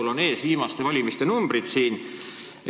Mul on siin ees viimaste valimiste tulemused.